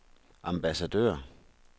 ambassadør